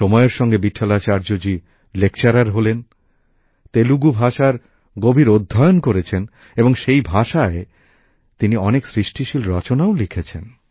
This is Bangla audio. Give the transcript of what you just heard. সময়ের সঙ্গে ভিটঠালাচার্য জি লেকচারার হলেন তেলুগু ভাষার সুগভীর অধ্যয়ন করেছেন ও সেই ভাষায় তিনি অনেক সৃষ্টিশীল রচনাও লিখেছেন